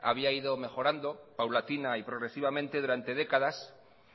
había ido mejorando paulatina y progresivamente durante décadas